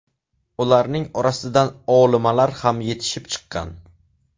Ularning orasidan olimalar ham yetishib chiqqan.